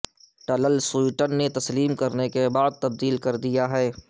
ٹلل سوئٹن نے تسلیم کرنے کے بعد تبدیل کردیا ہے